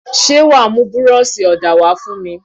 Ṣé wàá mú búrọ́ọ̀ṣì ọ̀dà wá fún mi.